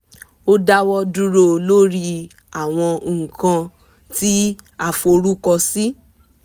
a dáwọ̀ dúró lórí àwọn nǹkan kan tí a forúkọ sí